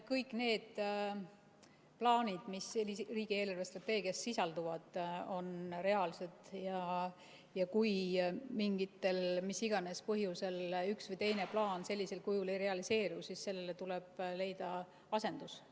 Kõik need plaanid, mis riigi eelarvestrateegias sisalduvad, on reaalsed ja kui mis iganes põhjustel üks või teine plaan sellisel kujul ei realiseeru, siis sellele tuleb leida asendus.